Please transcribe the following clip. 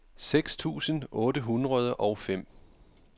seks tusind otte hundrede og fem